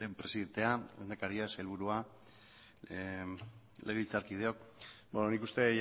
presidentea lehendakaria sailburua legebiltzarkideok nik uste